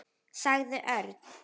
sagði Örn.